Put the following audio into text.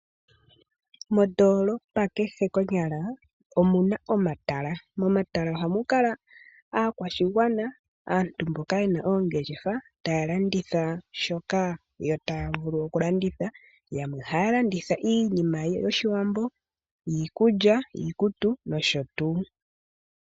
Mondoolopa kehe konyala, omuna omatala, mono ha mu kala aakwashigwana, aantu mboka yena oongeshefa, ta ya landitha shoka ta ya vulu okulanditha, yamwe oha ya landitha iinima yOshiwambo, iikulya, iikutu, noshotuu.